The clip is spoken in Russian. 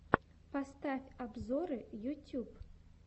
поставь обзоры ютьюб